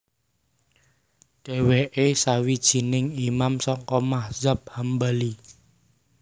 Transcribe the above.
Dhéwéké sawijining Imam saka madzhab Hambali